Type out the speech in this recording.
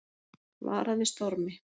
Varað við stormi